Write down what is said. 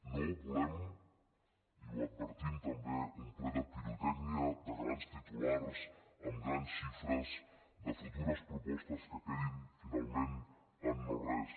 no volem i ho advertim també un ple de pirotècnica de grans titulars amb grans xifres de futures propostes que quedin finalment en no res